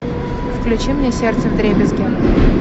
включи мне сердце вдребезги